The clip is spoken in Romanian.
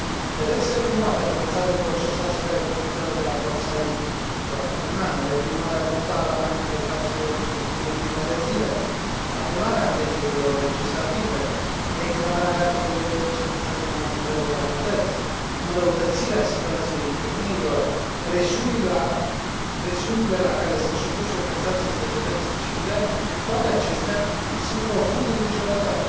Pedepsele cu moartea pronunțate în procesul asupra evenimentelor de la Port Said de acum un an, reprimarea brutală a manifestațiilor din ultimele zile, anularea alegerilor legislative, declararea stării de urgență în mai multe localități, înrăutățirea situației femeilor, presiunile la care sunt supuse organizațiile societății civile, toate acestea sunt profund îngrijorătoare.